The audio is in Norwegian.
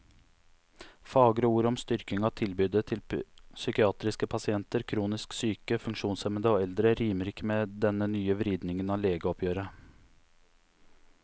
Fagre ord om styrking av tilbudet til psykiatriske pasienter, kronisk syke, funksjonshemmede og eldre rimer ikke med denne nye vridningen av legeoppgjøret.